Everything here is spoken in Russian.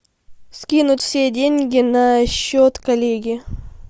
скинуть все деньги на счет коллеги